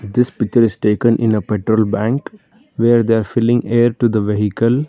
this picture is taken in a petrol bank where they are filling air to the vehicle.